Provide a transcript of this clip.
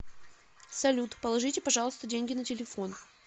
салют положите пожалуйста деньги на телефон